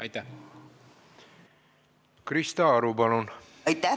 Krista Aru, palun!